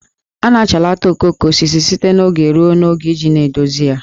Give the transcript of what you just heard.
A na-achalata okooko osisi site n'oge ruo n'oge iji na-edozi ya